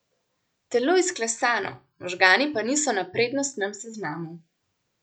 Telo izklesano, možgani pa niso na prednostnem seznamu.